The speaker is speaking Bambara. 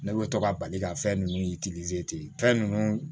Ne bɛ to ka bali ka fɛn ninnu ten fɛn ninnu